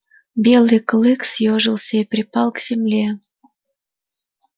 белый клык съёжился и припал к земле